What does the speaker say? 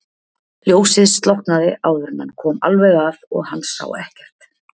Ljósið slokknaði áður en hann kom alveg að og hann sá ekkert.